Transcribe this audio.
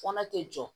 Kɔnɔ tɛ jɔ